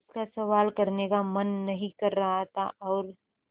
उसका सवाल करने का मन नहीं कर रहा था और